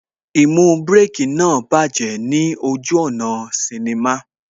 Īmú Bírèkī náà bájẹ̀ ní ojú ọ̀nà sinnimá